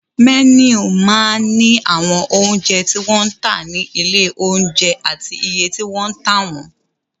Mẹ́nù máa ń ní àwọn oúnjẹ tí wọ́n ń tà ní ilé-oúnjẹ àti iye tí wọ́n ń tà wọ́n.